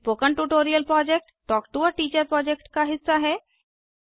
spoken tutorial project talk to a teacher project का हिस्सा है